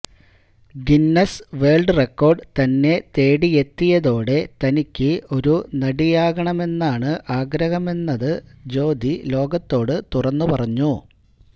Guinness world record തന്നെ തേടിയെത്തിയതോടെ തനിക്ക് ഒരു നടിയാകണമെന്നാണ് ആഗ്രഹമെന്നത് ജ്യോതി ലോകത്തോട് തുറന്നു പറഞ്ഞു